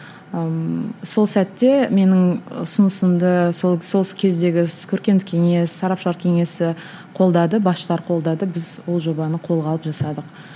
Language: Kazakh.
ыыы сол сәтте менің ұсынысымды сол сол кездегі көркемдік кеңес сарапшылар кеңесі қолдады басшылар қолдады біз ол жобаны қолға алып жасадық